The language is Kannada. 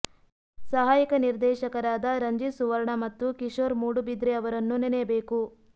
ಸಹಾಯಕ ನಿರ್ದೇಶಕರಾದ ರಂಜಿತ್ ಸುವರ್ಣ ಮತ್ತು ಕಿಶೋರ್ ಮೂಡುಬಿದ್ರೆ ಅವರನ್ನು ನೆನೆಯಬೇಕು